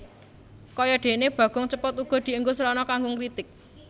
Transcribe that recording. Kaya dene Bagong Cepot uga dienggo srana kanggo ngritik